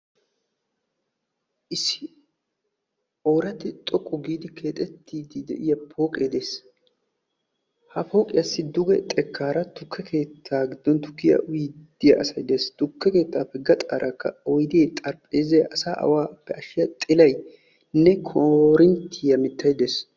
Issi ooratti xoqqu giidi keexettiiddi de"iyaa pooqee de'ees. Ha pooqiyaassi duge xekkaara tukke keettaa giddon tukkiyaa uyiiddi de"iyaa asay de'ees. Tukke keettaappe gaxaarakka oydee xaraphpheezzay asaa awaappe ashiyaa xilaynne koorinttiya mittay de'ees.